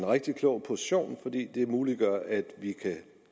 rigtig klog position for det muliggør at vi kan